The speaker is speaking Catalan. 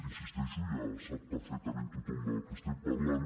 hi insisteixo ja sap perfectament tothom del que estem parlant